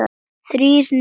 Þrír niður.